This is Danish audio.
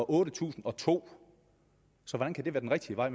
otte tusind og to hvordan kan det være den rigtige vej